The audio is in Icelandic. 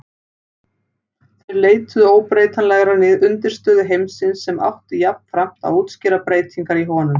Þeir leituðu óbreytanlegrar undirstöðu heimsins sem átti jafnframt að útskýra breytingar í honum.